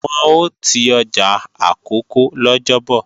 Wọn ò ti ọjà Àkókó lọ́jọ́bọ̀